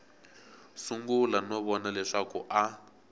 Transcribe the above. sungula no vona leswaku a